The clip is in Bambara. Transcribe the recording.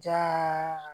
Diya